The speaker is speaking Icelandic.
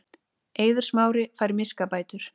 Eiður Smári fær miskabætur